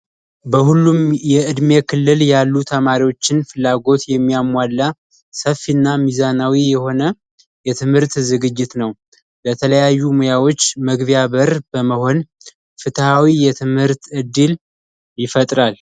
በሁሉም የእድሜ ክልል ያሉ ተማሪዎችን ፍላጎት የሚያሟላ ሰፊና ሚዛናዊ የሆነ የትምህርት ዝግጅት ነው ለተለያዩ ሙያዎች መግቢያ በር በመሆን ፍትሃዊ የትምህርት ዕድል ይፈጥራል።